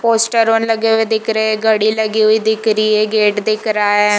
पोस्टरोन लगे हुए दिख रहै है घड़ी लगी हुई दिख रही है गेट दिख रहा है।